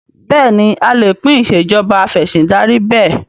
Bẹ́ẹ̀ni a lè pín Ìṣèjọba Af'ẹ̀sìndarí bẹ́ẹ̀